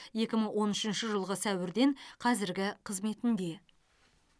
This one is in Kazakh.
екі мың он үшінші жылғы сәуірден қазіргі қызметінде